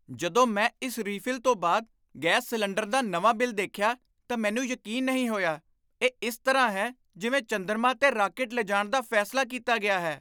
ਜਦੋਂ ਮੈਂ ਇਸ ਰੀਫਿਲ ਤੋਂ ਬਾਅਦ ਗੈਸ ਸਿਲੰਡਰ ਦਾ ਨਵਾਂ ਬਿੱਲ ਦੇਖਿਆ ਤਾਂ ਮੈਨੂੰ ਯਕੀਨ ਨਹੀਂ ਹੋਇਆ। ਇਹ ਇਸ ਤਰ੍ਹਾਂ ਹੈ ਜਿਵੇਂ ਚੰਦਰਮਾ 'ਤੇ ਰਾਕੇਟ ਲਿਜਾਣ ਦਾ ਫੈਸਲਾ ਕੀਤਾ ਗਿਆ ਹੈ!